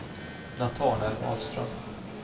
Natanael Ahlström